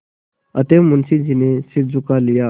अतएव मुंशी जी ने सिर झुका लिया